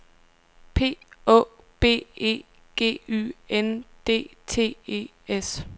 P Å B E G Y N D T E S